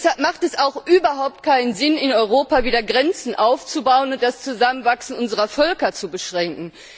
Deshalb ist es auch überhaupt nicht sinnvoll, in Europa wieder Grenzen aufzubauen und das Zusammenwachsen unserer Völker zu beschränken.